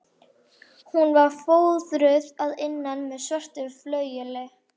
Hún var fóðruð að innan með svörtu flaueli.